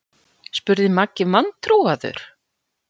spurði Maggi vantrúaður.